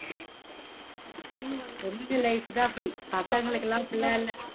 பொண்ணுங்க life தான் அப்படி பசங்களுக்குளா அப்படிலா இல்ல.